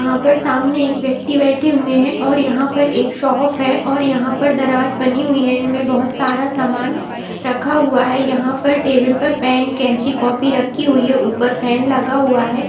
यहाँ पर सामने एक व्यक्ति बैठे हुए हैं और यहाँ पर एक शॉप है और यहाँ पर दराज बनी हुई है और यहाँ पर बोहोत सारा सामान रखा हुआ है। यहाँ टेबल पर पेन कैची रखी हुई है ऊपर फैन लगा हुआ है।